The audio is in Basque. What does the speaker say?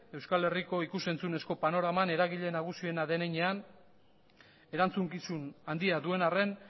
euskal herriko ikus entzunezko panoraman eragile nagusiena den heinean erantzukizun handia duen arren